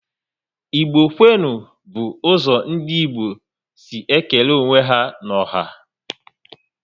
Igbo kwenu! bu ụzọ ndị Igbo si ékélé onwe ya n'ọha